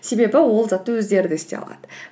себебі ол затты өздері де істей алады